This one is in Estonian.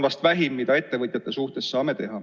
See on vähim, mida ettevõtjate suhtes saame teha.